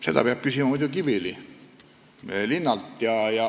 Seda peab küsima Kiviõli linnalt.